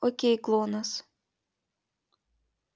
окей глонассс